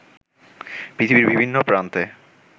পৃথিবীর বিভিন্ন প্রান্তে